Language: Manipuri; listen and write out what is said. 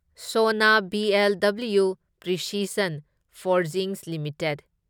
Sona BLW precision forgings limited